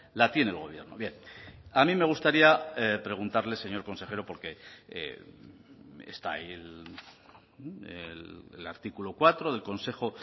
la tiene el gobierno bien a mí me gustaría preguntarle señor consejero porque está ahí el artículo cuatro del consejo